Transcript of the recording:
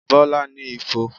Bọlá ní ifo